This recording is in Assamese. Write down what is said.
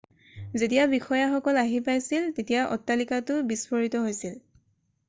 যেতিয়া বিষয়াসকল আহি পাইছিল তেতিয়া অট্টালিকাটো বিস্ফোৰিত হৈছিল